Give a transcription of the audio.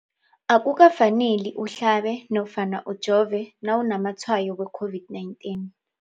Akuka faneli uhlabe nofana ujove nawu namatshayo we-COVID-19.